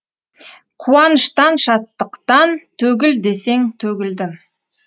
қуаныштан шаттықтан төгіл десең төгілдім